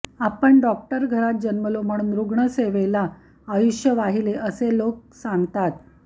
आपण डॉक्टर घरात जन्मलो म्हणून रुग्णसेवेला आयुष्य वाहिले असे लोक सांगतात